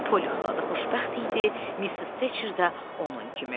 Poli xala da xoşbəxt idi, Missis Teçer də onun kimi.